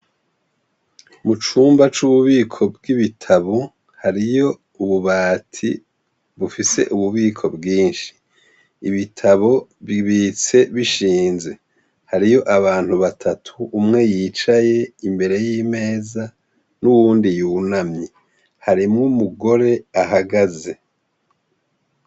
Mu cumba c'ububiko bw'ibitabu hariyo ububati bufise ububiko bwinshi ibitabo bibitse bishinze hariyo abantu batatu umwe yicaye imbere y'imeza n'uwundi yuna myi harimwo mugore ahagaze.